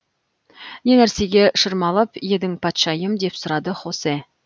не нәрсеге шырмалып едің патшайым деп сұрады хосе